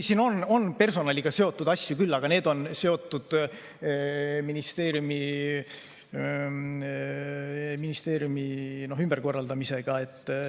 Siin on personaliga seotud asju küll, aga need on seotud ministeeriumide ümberkorraldamisega.